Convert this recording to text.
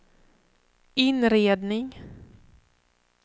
inredning